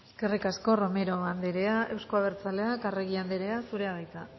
eskerrik asko romero andrea euzko abertzaleak arregi andrea zurea da hitza